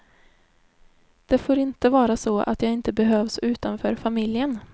Det får inte vara så att jag inte behövs utanför familjen.